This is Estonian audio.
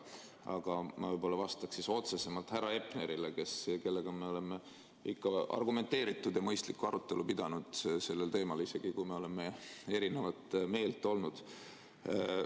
Aga ma vastaks otsesemalt härra Hepnerile, kellega me oleme ikka argumenteeritud ja mõistlikku arutelu pidanud sellel teemal, isegi kui me oleme erinevat meelt olnud.